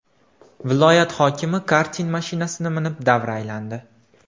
Viloyat hokimi karting mashinasini minib, davra aylandi .